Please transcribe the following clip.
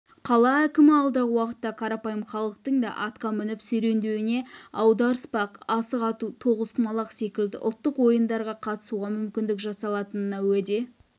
қала әкімі алдағы уақытта қарапайым халықтың да атқа мініп серуендеуіне аударыспақ асық ату тоғызқұмалақ секілді ұлттық ойындарға қатысуға мүмкіндік жасалатынына уәде